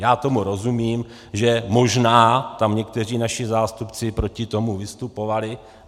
Já tomu rozumím, že možná tam někteří naši zástupci proti tomu vystupovali.